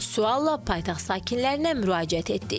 Sualla paytaxt sakinlərinə müraciət etdik.